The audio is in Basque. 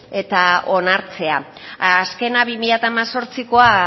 eta onartzea azkena bi mila hemezortzikoa